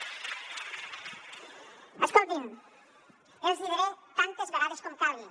escoltin els hi diré tantes vegades com calgui